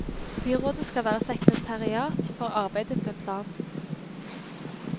Byrådet skal være sekretariat for arbeidet med planen.